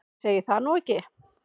Ég segi það nú ekki.